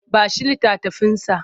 Ba shi littafinsa!